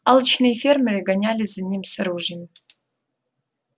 алчные фермеры гонялись за ним с ружьями